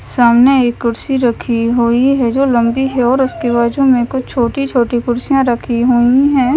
सामने एक कुर्सी रखी हुई है जो लंबी है और उसके बाजू में कुछ छोटी-छोटी कुर्सियां रखी हुई हैं।